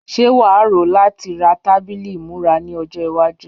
Ṣé wà á rò ó láti ra tábìlì ìmúra ní ọjọ́ iwájú?